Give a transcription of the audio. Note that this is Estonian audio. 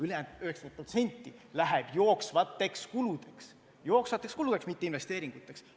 Ülejäänud 90% läheb jooksvateks kuludeks, mitte investeeringuteks.